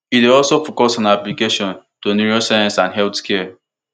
e dey also focus on applications to neuroscience and healthcare